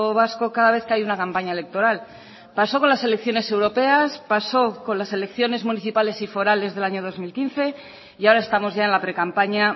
vasco cada vez que hay una campaña electoral pasó con las elecciones europeas pasó con las elecciones municipales y forales del año dos mil quince y ahora estamos ya en la precampaña